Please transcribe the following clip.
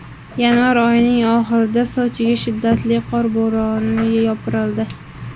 Yanvar oyining oxirida Sochiga shiddatli qor bo‘roni yopirildi.